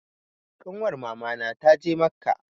Ƙanwar mama na ta je macca